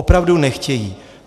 Opravdu nechtějí.